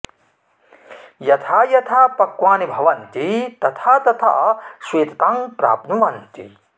यथा यथा पक्वानि भवन्ति अथा तथा श्वेततां प्राप्नुवन्ति